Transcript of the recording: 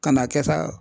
Ka n'a kɛ sa